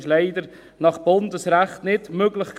Dies war leider nach Bundesrecht nicht möglich.